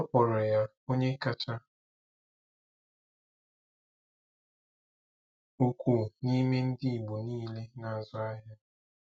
Akpọrọ ya onye kacha ukwuu n'ime ndị Igbo niile na-azụ ahịa.